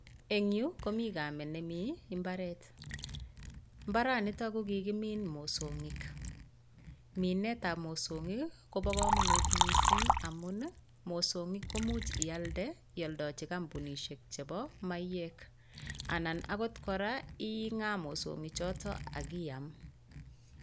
Eng yu komi kamet nemi imbaret. Imbaranitak ko kikimin mosog'ik. Minetab mosongik koba kamanut mising amun mosong'ik ko much ialde , ialdachi kampunishek chebo maiyek, anan akot kora ing'a mosong'ik chotok ak iam.